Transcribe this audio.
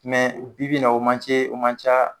bi bi na o man ce o man ca